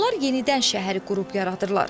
Onlar yenidən şəhəri qurub yaradırlar.